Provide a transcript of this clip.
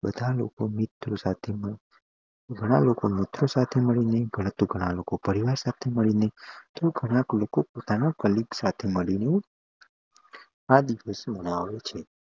બધા લોકો મિત્ર સાથે ગણા લોકો મિત્ર સાથે મળીને ગણા લોકો પરિવાર સાથે મળીને તોહ ગણા લોકો પોતાના કાલેઅગે સાથે મળીને આ દિવસ મનાવે છે